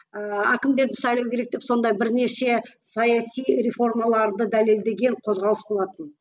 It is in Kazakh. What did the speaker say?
ыыы әкімдерді сайлау керек деп сондай бірнеше саяси реформаларды дәлелдеген қозғалыс болатын